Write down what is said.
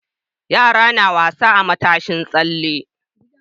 Yara suna wasa akan matashin tsalle.